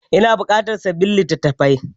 Ina buƙatan sabbin litattafai.